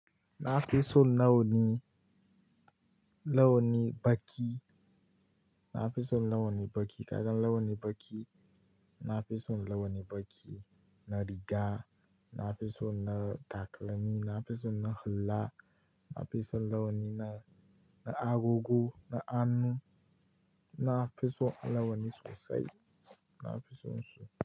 Na fi so launi, launi baki. Na fi so launi baki. Kadan launi baki, na fi so launi baki na riga. Na fi so na takalmi, na fi so na hulla. Na fi so launi na, na agogo, na annu. Na fi so launi sosai. Na fi so sosai.